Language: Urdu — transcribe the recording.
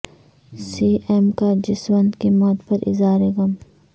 سی ایم کا جسونت کی موت پر اظہار غم